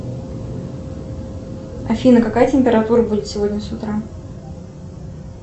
афина какая температура будет сегодня с утра